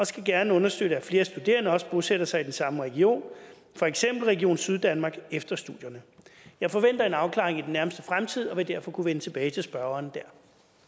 skal gerne understøtte at flere studerende også bosætter sig i den samme region for eksempel region syddanmark efter studierne jeg forventer en afklaring i den nærmeste fremtid og vil derfor kunne vende tilbage til spørgeren dér